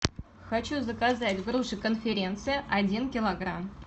хочу заказать груши конференция один килограмм